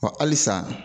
Wa halisa